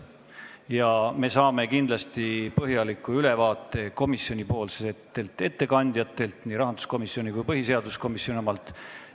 Ja me saame kindlasti põhjaliku ülevaate komisjoni ettekandjatelt, nii rahanduskomisjoni kui ka põhiseaduskomisjoni omalt.